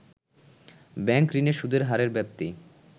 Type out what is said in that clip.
bank ঋণে সুদের হারের ব্যাপ্তি